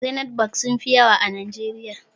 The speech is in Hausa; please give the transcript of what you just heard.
Zenith bank sunfi yawa a najeriya